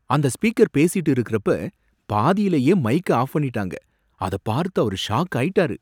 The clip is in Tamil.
அந்த ஸ்பீக்கர் பேசிட்டு இருக்குறப்ப பாதிலயே மைக்க ஆஃப் பண்ணிட்டாங்க, அத பார்த்து அவரு ஷாக் ஆயிட்டாரு.